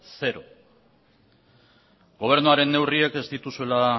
zero gobernuaren neurriek ez dituzuela